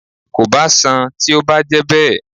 Kò bá sán-àn tí ó bá jẹ́ bẹ́ẹ̀